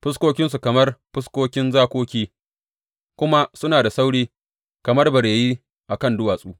Fuskokinsu kamar fuskoki zakoki, kuma suna da sauri kamar bareyi a kan duwatsu.